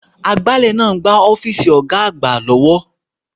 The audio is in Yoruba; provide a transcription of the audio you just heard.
Agbálẹ̀ ń gbá ọ́fíìsì Ọ̀ga àgbà lọ́wọ́